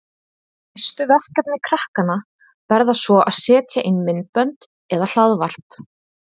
Næstu verkefni krakkanna verða svo að setja inn myndbönd eða hlaðvarp.